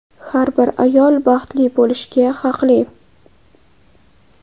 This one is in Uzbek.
Har bir ayol baxtli bo‘lishga haqli.